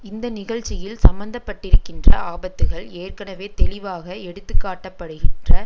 இந்த நிகழ்ச்சியில் சம்மந்தப்பட்டிருக்கின்ற ஆபத்துக்கள் ஏற்கனவே தெளிவாக எடுத்துக்காட்டப்படுகின்ற